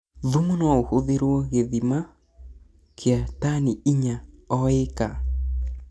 Thumu noũhũthĩrwona gĩthimi kia tani intya o ĩka.